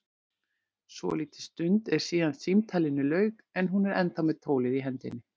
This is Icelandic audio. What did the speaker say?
Svolítil stund er síðan símtalinu lauk en hún er ennþá með tólið í hendinni.